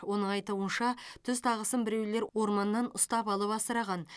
оның айтуынша түз тағысын біреулер орманнан ұстап алып асыраған